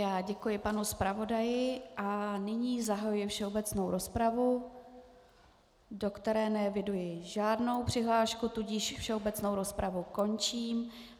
Já děkuji panu zpravodaji a nyní zahajuji všeobecnou rozpravu, do které neeviduji žádnou přihlášku, tudíž všeobecnou rozpravu končím.